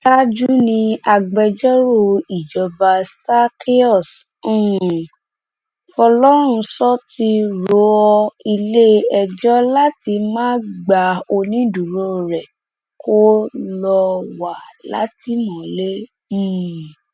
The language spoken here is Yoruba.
ṣáájú ni agbẹjọrò ìjọba zakeaus um fọlọrunsọ ti rọ iléẹjọ láti má gba onídùúró rẹ kó lọọ wà látìmọlé um